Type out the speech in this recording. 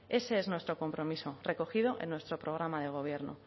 ese es nuestro compromiso recogido en nuestro programa de gobierno